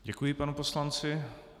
Děkuji panu poslanci.